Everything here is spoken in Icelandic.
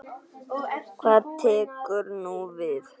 Hvað tekur nú við?